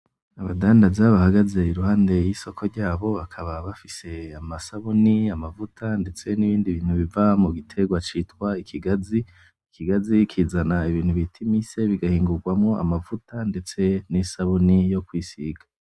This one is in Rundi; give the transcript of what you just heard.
Abadandaza bahagaze iruhande yisoko ryabo bakaba bafise amasabuni amavuta ndetse nibindi bintu biva mugitegwa citwa ikigazi ikigazi kizana ibintu bita imise bigahingugwamwo amavuta ndetse nisabuni yo kwisiga